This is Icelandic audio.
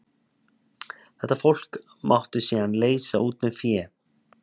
Þetta fólk mátti síðan leysa út með fé.